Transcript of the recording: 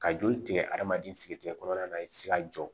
Ka joli tigɛ adamaden sigi kɔnɔna na i tɛ se ka jɔ